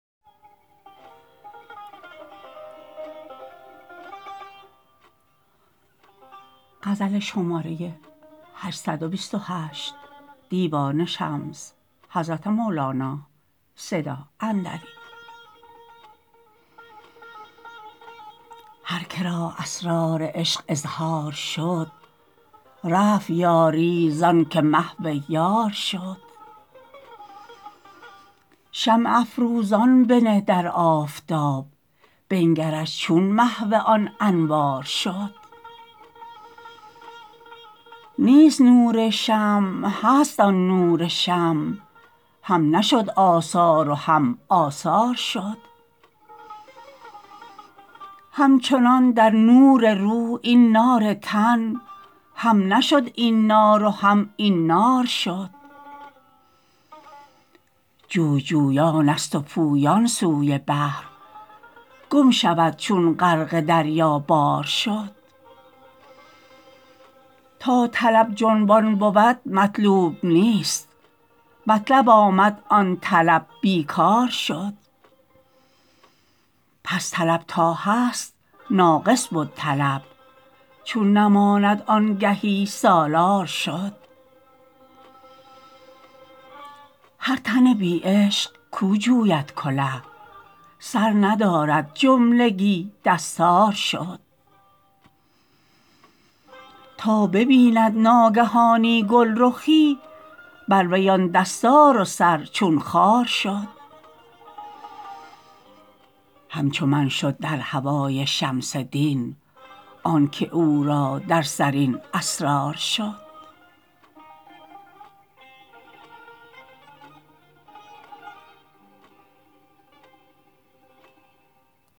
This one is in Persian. هر که را اسرار عشق اظهار شد رفت یاری زانک محو یار شد شمع افروزان بنه در آفتاب بنگرش چون محو آن انوار شد نیست نور شمع هست آن نور شمع هم نشد آثار و هم آثار شد همچنان در نور روح این نار تن هم نشد این نار و هم این نار شد جوی جویانست و پویان سوی بحر گم شود چون غرق دریابار شد تا طلب جنبان بود مطلوب نیست مطلب آمد آن طلب بی کار شد پس طلب تا هست ناقص بد طلب چون نماند آگهی سالار شد هر تن بی عشق کو جوید کله سر ندارد جملگی دستار شد تا ببیند ناگهانی گلرخی بر وی آن دستار و سر چون خار شد همچو من شد در هوای شمس دین آنک او را در سر این اسرار شد